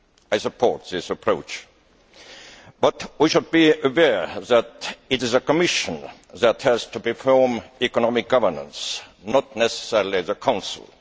I support this approach, but we should be aware that it is the Commission that has to perform economic governance, not necessarily the Council.